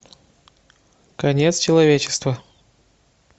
конец человечества